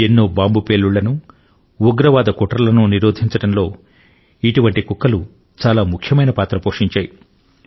ఎన్నో బాంబు పేలుళ్లను ఉగ్రవాద కుట్రలను నిరోధించడంలో చాలా ముఖ్యమైన పాత్ర పోషించాయి